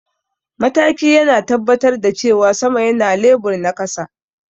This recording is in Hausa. mataki yana tabbatar da cewa sama yana lebur na kasa